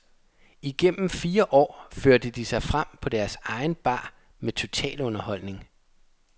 Igennem fire år førte de sig frem på deres egen bar med totalunderholdning.